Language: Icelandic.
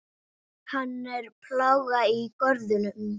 Hann er plága í görðum.